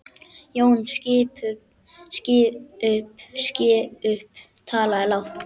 Jón biskup talaði lágt.